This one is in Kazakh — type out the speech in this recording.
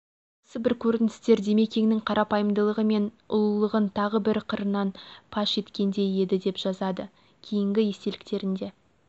осы бір көріністер димекеңнің қарапайымдылығы мен ұлылығын тағы бірі қырынан паш еткендей еді деп жазады кейінгі естеліктерінде